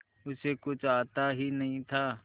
उसे कुछ आता ही नहीं था